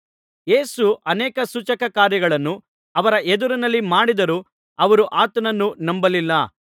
ಯೇಸು ಅನೇಕ ಸೂಚಕಕಾರ್ಯಗಳನ್ನು ಅವರ ಎದುರಿನಲ್ಲಿ ಮಾಡಿದರೂ ಅವರು ಆತನನ್ನು ನಂಬಲಿಲ್ಲ